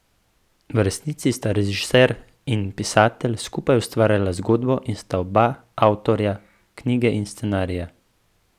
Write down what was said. V resnici sta režiser in pisatelj skupaj ustvarila zgodbo in sta oba avtorja knjige in scenarija.